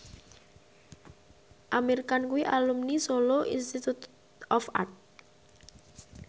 Amir Khan kuwi alumni Solo Institute of Art